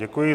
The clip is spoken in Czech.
Děkuji.